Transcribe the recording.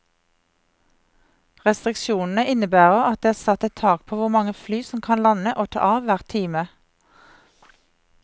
Restriksjonene innebærer at det er satt et tak på hvor mange fly som kan lande og ta av hver time.